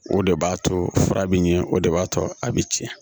O de b'a to fura bɛ ɲɛ o de b'a to a bɛ tiɲɛ